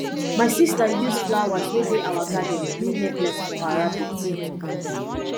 my sister use flowers wey dey our garden do necklace for her rabbit